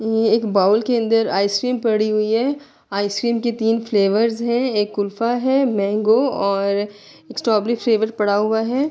یہ ایک بول کے اندر آئسکریم پڑی ہوئی ہے۔ آئسکریم کے تین فلوورس ہے۔ ایک کلفہ ہے مینگو اور سٹروبررے فلیور پڑا ہوا ہے۔